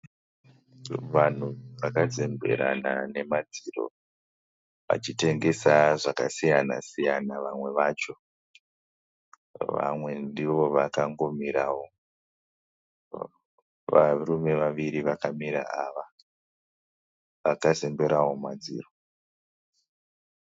Vanhu vakazemberana nemadziro vachitengesa zvakasiyana siyana vamwe vacho vamwe ndiwo vakangomirawo varume vawiri vakamira awa wakazemberawo madziro